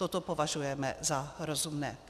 Toto považujeme za rozumné.